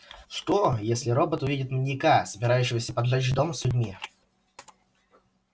что если робот увидит маньяка собирающегося поджечь дом с людьми